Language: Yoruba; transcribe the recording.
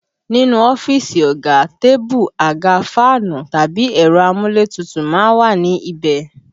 Nínú ọ́fíìsì ọ̀gá, tébù, àga, fáànù tàbí ẹ̀rọ amúlétutù má ń wà ní ibẹ̀